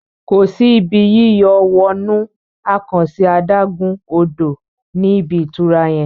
kọ sí Ibi yíyọ̀ wọnú àkànṣe adágún-odò ní ibí ìtura yén.